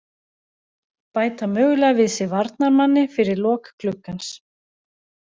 Bæta mögulega við sig varnarmanni fyrir lok gluggans.